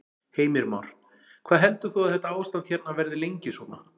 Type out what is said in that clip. Heimir Már: Hvað heldur þú að þetta ástand hérna verði lengi svona?